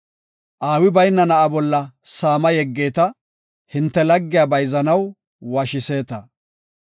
Aawi bayna na7a bolla saama yeggeeta; hinte laggiya bayzanaw washiseeta.